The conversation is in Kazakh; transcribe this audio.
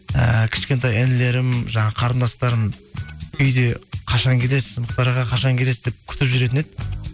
ііі кішкентай інілерім жаңағы қарындастарым үйде қашан келесіз мұхтар аға қашан келесіз деп күтіп жүретін еді